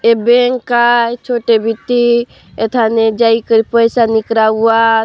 ए bank का छोटे बिट्टी अठने जाइके पैसा निकला हुआ--